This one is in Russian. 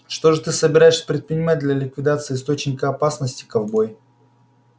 что же ты собираешься предпринимать для ликвидации источника опасности ковбой